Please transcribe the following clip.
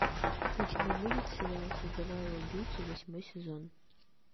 у тебя будет сериал создавая убийцу восьмой сезон